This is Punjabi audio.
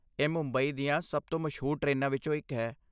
ਇਹ ਮੁੰਬਈ ਦੀਆਂ ਸਭ ਤੋਂ ਮਸ਼ਹੂਰ ਟ੍ਰੇਨਾਂ ਵਿੱਚੋਂ ਇੱਕ ਹੈ।